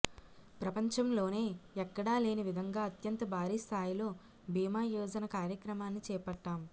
ప్రపంచంలోనే ఎక్కడా లేనివిధంగా అత్యంత భారీ స్థాయిలో భీమా యోజన కార్యక్రమాన్ని చేపట్టాం